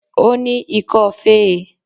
Ó ní ikọ́ fé e